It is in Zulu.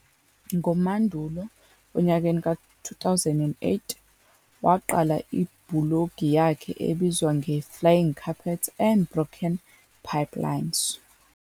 NgoSepthemba 2008, waqala ibhulogi yakhe ebizwa "ngeFlying Carpets and Broken Pipelines."